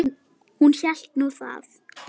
Hún hélt nú það.